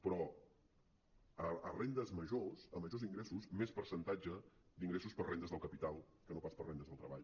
però a rendes majors a majors ingressos més percentatge d’ingressos per a rendes del capital que no pas per a rendes del treball